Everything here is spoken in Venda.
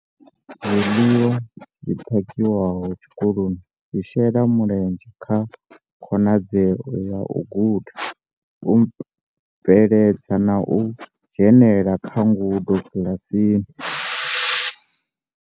Zwiḽiwa zwi phakhiwaho tshikoloni zwi shela mulenzhe kha khonadzeo ya u guda, u nweledza na u dzhenela kha ngudo kiḽasini.